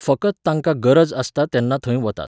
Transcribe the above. फकत तांकां गरज आसता तेन्ना थंय वतात.